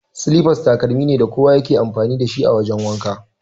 Silifas takalmi ne da kowa ya ke amfani dashi a wajan wanka.